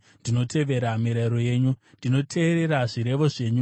Ndinoteerera zvirevo zvenyu, nokuti ndinozvida zvikuru.